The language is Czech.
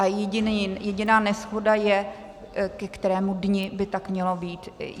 A jediná neshoda je, ke kterému dni by tak mělo být.